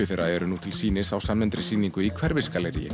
þeirra eru nú til sýnis á samnefndri sýningu í